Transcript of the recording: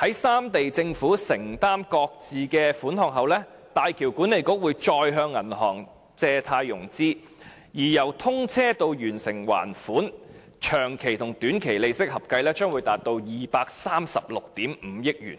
在三地政府承擔各自的款項後，大橋管理局會再向銀行借貸融資，而由通車至完成還款的長期和短期利息合計將達236億 5,000 萬元。